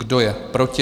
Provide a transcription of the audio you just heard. Kdo je proti?